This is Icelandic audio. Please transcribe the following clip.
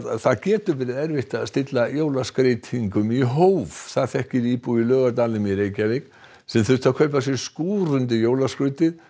það getur verið erfitt að stilla jólaskreytingum í hóf það þekkir íbúi í Laugardalnum í Reykjavík sem þurfti að kaupa sér skúr undir jólaskrautið